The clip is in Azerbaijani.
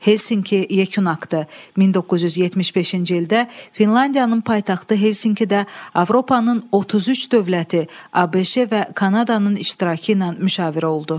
Helsinki yekun aktı 1975-ci ildə Finlandiyanın paytaxtı Helsinkidə Avropanın 33 dövləti, ABŞ və Kanadanın iştirakı ilə müşavirə oldu.